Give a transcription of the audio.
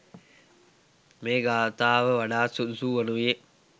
මේ ගාථාව වඩාත් සුදුසු වනුයේ